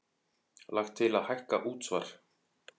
Lagt til að hækka útsvar